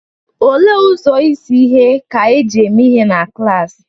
Olee ụzọ izi ihe ka e ji mee ihe na klaasị?